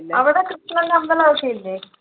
അവിടെ കൃഷ്ണന്‍ടെ അമ്പലമൊക്കെ ഇല്ലേ?